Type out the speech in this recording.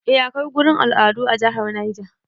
A akwai gurin al'adu a jihar Neja